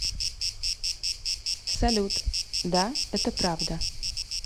салют да это правда